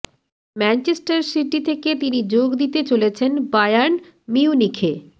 Manchester City থেকে তিনি যোগ দিতে চলেছেন বায়ার্ন মিউনিখে